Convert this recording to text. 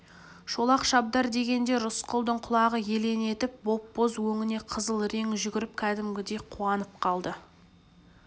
шолақ шабдар дегенде рысқұлдың құлағы елен етіп боп-боз өңіне қызыл рең жүгіріп кәдімгідей қуанып қалды